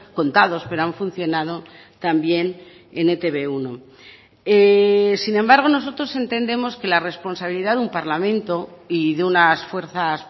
contados pero han funcionado también en e te be uno sin embargo nosotros entendemos que la responsabilidad de un parlamento y de unas fuerzas